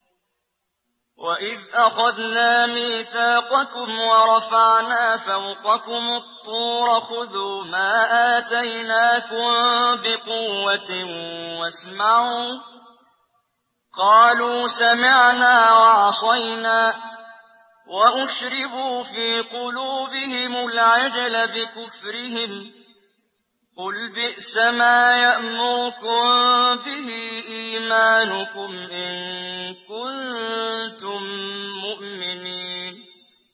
وَإِذْ أَخَذْنَا مِيثَاقَكُمْ وَرَفَعْنَا فَوْقَكُمُ الطُّورَ خُذُوا مَا آتَيْنَاكُم بِقُوَّةٍ وَاسْمَعُوا ۖ قَالُوا سَمِعْنَا وَعَصَيْنَا وَأُشْرِبُوا فِي قُلُوبِهِمُ الْعِجْلَ بِكُفْرِهِمْ ۚ قُلْ بِئْسَمَا يَأْمُرُكُم بِهِ إِيمَانُكُمْ إِن كُنتُم مُّؤْمِنِينَ